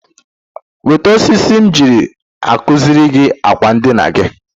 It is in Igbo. Wete osisi m ji akuziri gị akwa ndina gị.